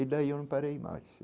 E daí eu não parei mais.